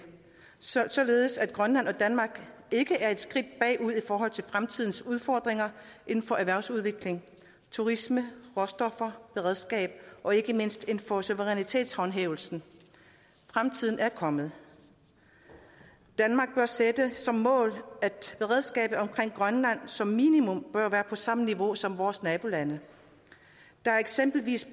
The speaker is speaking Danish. således at grønland og danmark ikke er et skridt bagud i forhold til fremtidens udfordringer inden for erhvervsudvikling turisme råstoffer beredskab og ikke mindst inden for suverænitetshåndhævelsen fremtiden er kommet danmark bør sætte som mål at beredskabet omkring grønland som minimum bør være på samme niveau som vores nabolandes der er eksempelvis